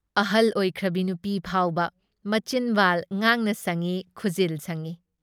ꯑꯍꯜ ꯑꯣꯏꯈ꯭ꯔꯕꯤ ꯅꯨꯄꯤ ꯐꯥꯎꯅ ꯃꯆꯤꯟꯕꯥꯜ ꯉꯥꯡꯅ ꯁꯪꯏ, ꯈꯨꯖꯤꯜ ꯁꯪꯏ ꯫